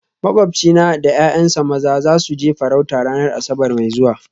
Makwabcina da ’ya’yansa maza za su je farauta ranar Asabar mai zuwa